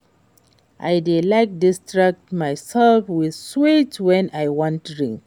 I dey like distract myself with sweet wen I wan drink